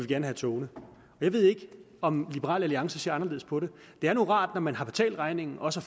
gerne have togene jeg ved ikke om liberal alliance ser anderledes på det det er nu rart når man har betalt regningen også